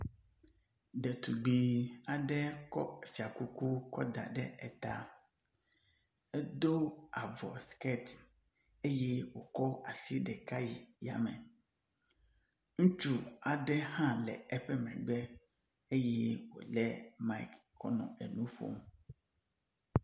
Ɖetugbui aɖe kɔ fiakuku kɔ da ɖe eta. Edo avu skirt eye wòkɔ asi ɖeka yi yame. Ŋutsu aɖe hã le eƒe megbe eye wòle mic kɔ nɔ enu ƒom.